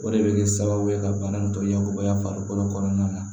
O de bɛ kɛ sababu ye ka bana in tɔɲabɔ farikolo kɔnɔna na